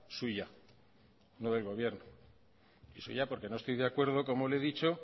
suya no del gobierno y eso yo porque no estoy de acuerdo como le he dicho